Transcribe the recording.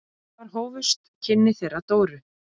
Þar hófust kynni þeirra Dóru.